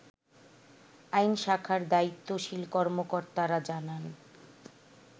আইন শাখার দায়িত্বশীল কর্মকর্তারা জানান